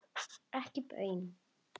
Ekki baun.